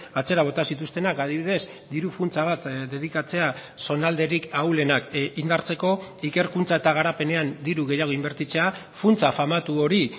atzera bota zituztenak adibidez diru funtsa bat dedikatzea zonalderik ahulenak indartzeko ikerkuntza eta garapenean diru gehiago inbertitzea funtsa famatu hori